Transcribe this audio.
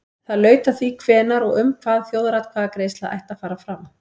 Það laut að því hvenær og um hvað þjóðaratkvæðagreiðsla ætti að fara fram.